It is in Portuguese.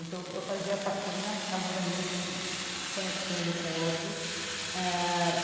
Então, eu fazia a faxina, alguns amigos iam me conectando com outros eh.